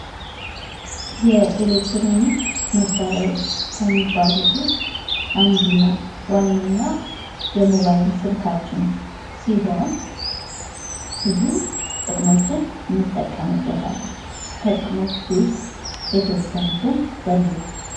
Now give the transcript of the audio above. የኤሌክትሮኒክስ መሳሪያዎች ከሚባሉት ውስጥ አንዱና ዋነኛው የሞባይል ስልካችን ሲሆን ብዙ ጥቅሞችን እንጠቀምበታለን። ከጥቅሞቹ ውስጥ የተወሰኑትን ዘርዝሩ?